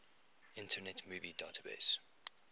internet movie database